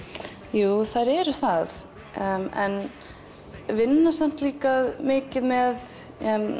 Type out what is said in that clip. jú þær eru það en vinna samt líka mikið með